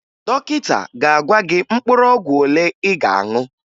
Dọkịta ga-agwa gị mkpụrụ ọgwụ ole ị ga-aṅụ